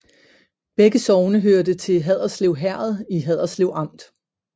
Begge sogne hørte til Haderslev Herred i Haderslev Amt